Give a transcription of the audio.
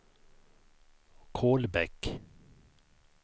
Kolbäck